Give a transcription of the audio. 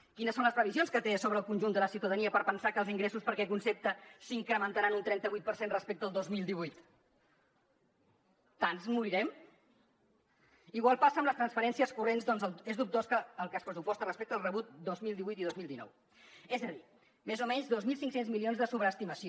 quines són les previsions que té sobre el conjunt de la ciutadania per pensar que els ingressos per aquest concepte s’incrementaran un trenta vuit per cent respecte al dos mil divuit tants morirem igual passa amb les transferències corrents ja que és dubtós el que es pressuposta respecte al rebut el dos mil divuit i dos mil dinou és a dir més o menys dos mil cinc cents milions de sobreestimació